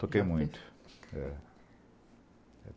Toquei muito.